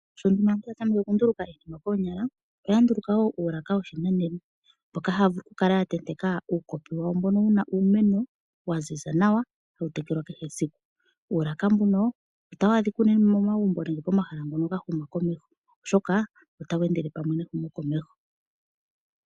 Sho nduno aantu ya tameke okunduluka iinima koonyala, oya nduluka woo uulaka woshinanena, mboka haavulu okukala ya tenteka uukopi wawo mbono wuna uumeno waziza nawa hawu tekelwa kehe esiku, uulaka mbuno otawa dhika unene momagumbo nenge pomahala ngono gahuma komeho, oshoka ota wendele pamwe nehumo komeho.